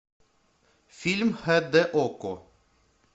фильм хд окко